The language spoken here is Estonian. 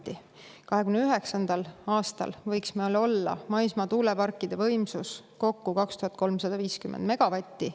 2029. aastaks võiks meil maismaatuuleparkide võimsus olla kokku 2350 megavatti.